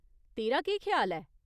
तेरा केह् ख्याल ऐ ?